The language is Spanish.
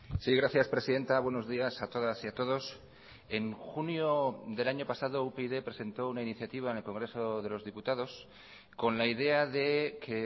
sí gracias presidenta buenos días a todas y a todos en junio del año pasado upyd presentó una iniciativa en el congreso de los diputados con la idea de que